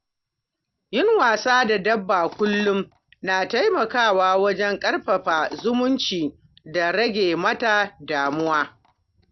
Yin wasa da dabba kullum na taimakawa wajen ƙarfafa zumunci da rage mata damuwa.